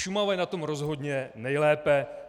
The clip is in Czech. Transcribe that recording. Šumava je na tom rozhodně nejlépe.